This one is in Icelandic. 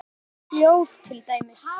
Lykt og hljóð til dæmis.